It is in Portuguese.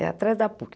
É atrás da PUC.